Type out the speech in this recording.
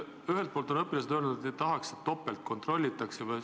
Ühelt poolt on õpilased öelnud, et nad ei tahaks, et neid topelt kontrollitakse.